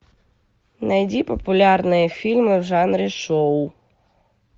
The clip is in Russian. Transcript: найди популярные фильмы в жанре шоу